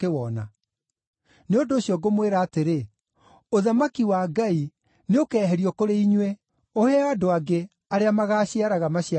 “Nĩ ũndũ ũcio ngũmwĩra atĩrĩ, ũthamaki wa Ngai nĩũkeeherio kũrĩ inyuĩ, ũheo andũ angĩ arĩa magaaciaraga maciaro maguo.